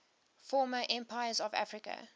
former empires of africa